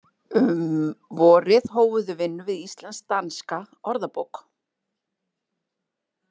Um vorið hófu þau vinnu við Íslensk-danska orðabók.